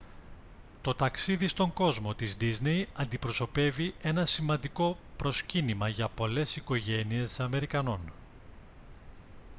το ταξίδι στον κόσμο της ντίσνεϊ αντιπροσωπεύει ένα σημαντικό προσκύνημα για πολλές οικογένειες αμερικανών